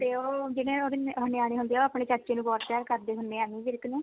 ਤੇ ਉਹ ਜਿਹੜੇ ਉਹਦੇ ਨਿਆਣੇ ਹੁੰਦੇ ਆ ਉਹ ਆਪਣੇ ਚਾਚੇ ਨੂੰ ਬਹੁਤ ਪਿਆਰ ਕਰਦੇ ਹੁੰਦੇ ਆ ਐਮੀ ਵਿਰਕ ਨੂੰ